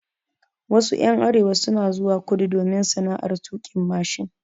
Wasu ƴan arewa suna zuwa kudu domin sana'ar tuƙin mashin.